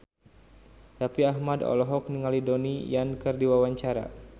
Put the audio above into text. Raffi Ahmad olohok ningali Donnie Yan keur diwawancara